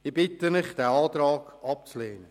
Ich bitte Sie, diesen Antrag abzulehnen.